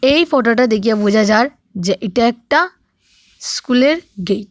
এই ফোটোটা দেকিয়া বুজা যার যে ইটা একটা স্কুলের গেট ।